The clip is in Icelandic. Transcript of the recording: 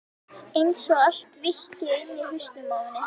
Einsog allt víkki inni í hausnum á henni.